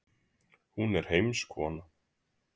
Hún er heimskona.